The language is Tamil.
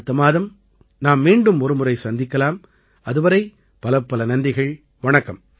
அடுத்த மாதம் நாம் மீண்டும் ஒருமுறை சந்திக்கலாம் அதுவரை பலப்பல நன்றிகள் வணக்கம்